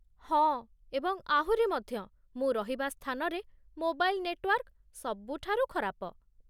ହଁ, ଏବଂ ଆହୁରି ମଧ୍ୟ ମୁଁ ରହିବା ସ୍ଥାନରେ ମୋବାଇଲ୍ ନେଟୱାର୍କ ସବୁଠାରୁ ଖରାପ।